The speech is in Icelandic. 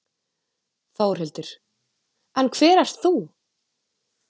Þórhildur: En hver ert þú?